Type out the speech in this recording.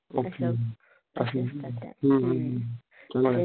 okay अश्या हम्म हम्म हम्म तुम्हला त्या